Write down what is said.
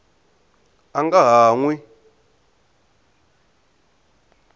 a nga ha n wi